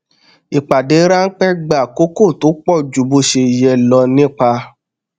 ìpàdé ránpẹ gba àkókò tó pọ ju bó ṣe yẹ lọ ó nípa